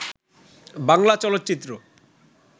বাংলা চলচ্চিত্র